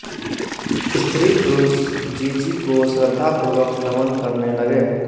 स्त्री पुरुष जीजी को श्रद्धा पुर्वक नमन करने लगे